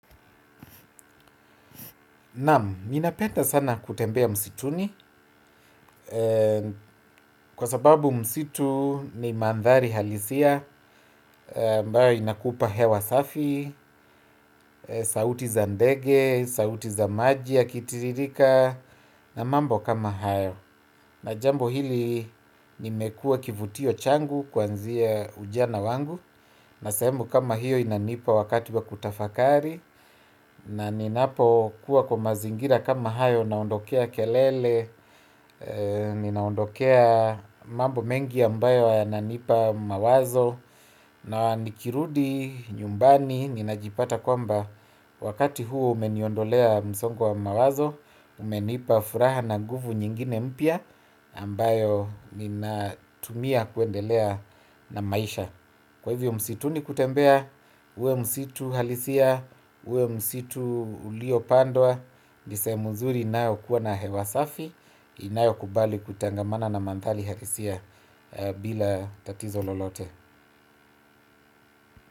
Naamu, minapenda sana kutembea msituni, kwa sababu msitu ni mandhari halisia, ambayo inakupa hewa safi, sauti za ndege, sauti za maji yakitirika, na mambo kama hayo. Na jambo hili nimekuwa kivutio changu kwanzia ujana wangu. Na sahemu kama hiyo inanipa wakati wa kutafakari. Na ninapo kuwa kwa mazingira kama hayo naondokea kelele. Ninaondokea mambo mengi ambayo yananipa mawazo. Na nikirudi nyumbani ninajipata kwamba wakati huo umeniondolea msongo wa mawazo. Umenipa furaha na nguvu nyingine mpya ambayo ninatumia kuendelea na maisha. Kwa hivyo msituni kutembea. Uwe msitu halisia. Uwe msitu uliopandwa. Ni sehemu nzuri inayokuwa na hewa safi inayo kubali kutangamana na mandhali halisia bila tatizo lolote.